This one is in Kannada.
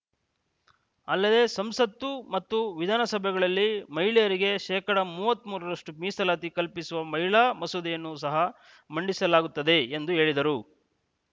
ಅಲ್ಲದೆ ಸಂಸತ್ತು ಮತ್ತು ವಿಧಾನಸಭೆಗಳಲ್ಲಿ ಮಹಿಳೆಯರಿಗೆ ಶೇಕಡಾ ಮೂವತ್ತ್ ಮೂರರಷ್ಟು ಮೀಸಲಾತಿ ಕಲ್ಪಿಸುವ ಮಹಿಳಾ ಮಸೂದೆಯನ್ನು ಸಹ ಮಂಡಿಸಲಾಗುತ್ತದೆ ಎಂದು ಹೇಳಿದರು